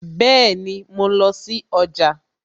Bẹẹni, mo lọ sí ọjà